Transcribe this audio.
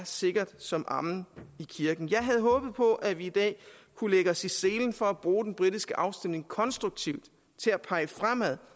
sikkert som amen i kirken jeg havde håbet på at vi i dag kunne lægge os i selen for at bruge den britiske afstemning konstruktivt til at pege fremad